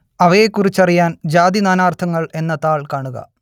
അവയെക്കുറിച്ചറിയാൻ ജാതി നാനാർത്ഥങ്ങൾ എന്ന താൾ കാണുക